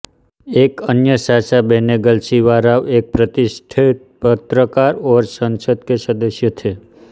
एक अन्य चाचा बेनेगल शिवा राव एक प्रतिष्ठित पत्रकार और संसद के सदस्य थे